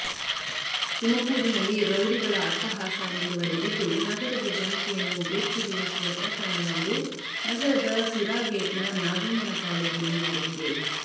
ತುಮಕೂರಿನಲ್ಲಿ ರೌಡಿಗಳ ಅಟ್ಟಹಾಸ ಮುಂದುವರೆದಿದ್ದು ನಗರದ ಜನತೆಯನ್ನು ಬೆಚ್ಚಿಬೀಳಿಸುವ ಪ್ರಕರಣವೊಂದು ನಗರದ ಸಿರಾ ಗೇಟ್ ನ ನಾಗಣ್ಣನ ಪಾಳ್ಯದಲ್ಲಿ ನಡೆದಿದೆ